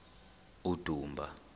udumba